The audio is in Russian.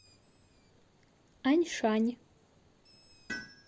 аньшань